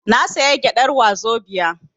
Na saya gyadar wazobia